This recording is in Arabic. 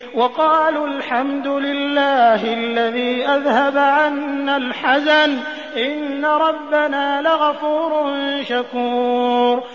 وَقَالُوا الْحَمْدُ لِلَّهِ الَّذِي أَذْهَبَ عَنَّا الْحَزَنَ ۖ إِنَّ رَبَّنَا لَغَفُورٌ شَكُورٌ